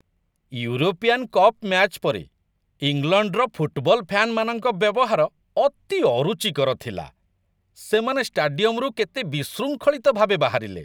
European cup match ପରେ, ଇଂଲଣ୍ଡର football ଫ୍ୟାନ୍‌ମାନଙ୍କ ବ୍ୟବହାର ଅତି ଅରୁଚିକର ଥିଲା, ସେମାନେ ଷ୍ଟାଡିୟମ୍‌ରୁ କେତେ ବିଶୃଙ୍ଖଳିତ ଭାବେ ବାହାରିଲେ!